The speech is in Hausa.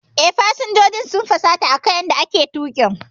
Eh, fasinjojin sun fusata akan yanda ake tuƙin.